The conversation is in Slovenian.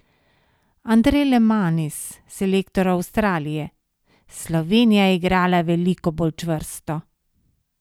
Andrej Lemanis, selektor Avstralije: 'Slovenija je igrala veliko bolj čvrsto.